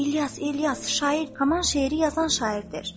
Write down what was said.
İlyas, İlyas, şair Kaman şeiri yazan şairdir.